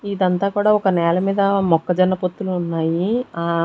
ఇదంతా కూడా ఒక నేల మీద మొక్కజన్న పొత్తులు ఉన్నాయి ఆ--